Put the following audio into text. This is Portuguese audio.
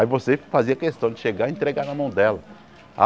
Aí você fazia questão de chegar e entregar na mão dela.